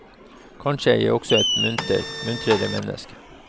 Kanskje er jeg også et muntrere menneske.